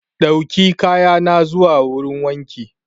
Dauki kaya na zuwa wurin wanki.